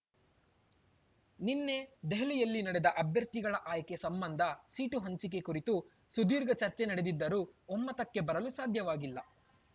ನಿನ್ನೆ ದೆಹಲಿಯಲ್ಲಿ ನಡೆದ ಅಭ್ಯರ್ಥಿಗಳ ಆಯ್ಕೆ ಸಂಬಂಧ ಸೀಟು ಹಂಚಿಕೆ ಕುರಿತು ಸುದೀರ್ಘ ಚರ್ಚೆ ನಡೆದಿದ್ದರೂ ಒಮ್ಮತಕ್ಕೆ ಬರಲು ಸಾಧ್ಯವಾಗಿಲ್ಲ